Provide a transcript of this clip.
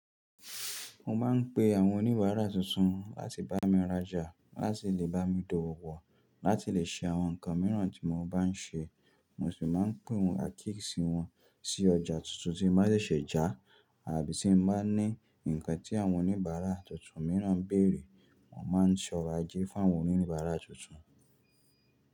Mo máa ń pe àwọn oníbàárà tuntun láti bá mi rajà, láti lè bá mi do wò pọ, láti lè ṣe àwọn nǹkan mìíràn tí mo bá ń ṣe. Mo sì máa ń pè wọ́n àkíyèsí wọn sí ọjà tuntun tí ń bá ṣẹ̀ṣẹ̀ já, àbí tí ń bá ní nǹkan tí àwọn oníbàárà tuntun mìíràn ń bèrè, wọ́n máa ń ṣe ọ̀rọ̀ ajé fún àwọn oníbàárà tuntun.